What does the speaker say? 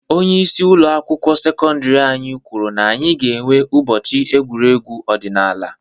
Onyeisi ụlọ akwụkwọ sekọndiri anyị kwuru na anyị ga enwe ụbọchị egwuregwu ọdinaala.